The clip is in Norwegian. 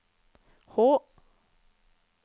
H